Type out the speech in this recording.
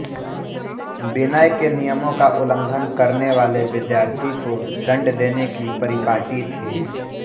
विनय के नियमों का उल्लंघन करनेवाले विद्यार्थी को दंड देने की परिपाटी थी